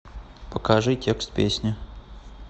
покажи текст песни